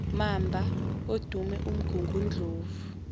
mamba odume umgungundlovu